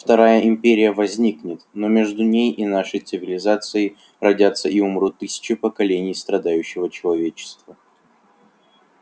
вторая империя возникнет но между ней и нашей цивилизацией родятся и умрут тысячи поколений страдающего человечества